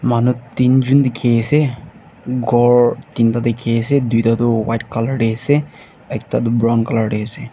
manu teenjun dikhiase ghor teen ta dikhiase duita tu white colour tae ase ekta tu brown colour tae ase.